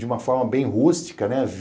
De uma forma bem rústica, né?